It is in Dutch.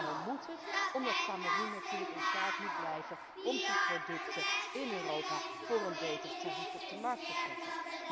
Want waarom moet het? Omdat Kameroen natuurlijk in staat moet blijven om zijn producten in Europa voor een beter tarief op de markt te zetten.